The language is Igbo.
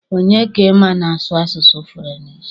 Onye ka ị ma na-asụ asụsụ furenchi?